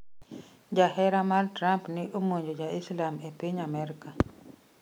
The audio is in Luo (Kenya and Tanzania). Jahera mar Trump ne omonjo ja Islam e piny Amerka